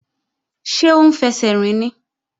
Ṣé ó ń fẹsẹ̀ rìn ni?